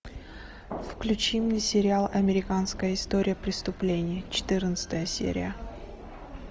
включи мне сериал американская история преступлений четырнадцатая серия